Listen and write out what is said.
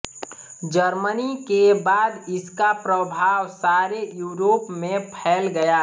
Germany के बाद इसका प्रभाव सारे यूरोप में फैल गया